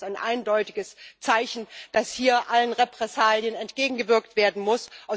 Für mich ist das ein eindeutiges Zeichen, dass hier allen Repressalien entgegengewirkt werden muss.